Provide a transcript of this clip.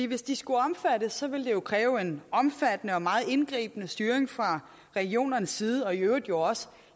hvis de skulle omfattes ville det jo kræve en omfattende og meget indgribende styring fra regionernes side og i øvrigt jo også